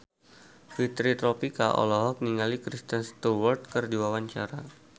Fitri Tropika olohok ningali Kristen Stewart keur diwawancara